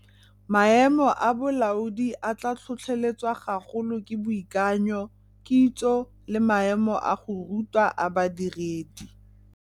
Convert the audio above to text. Maemo a bolaodi a tla tlhotlheletswa gagolo ke boikanyo, kitso le maemo a go rutwa a badiredi.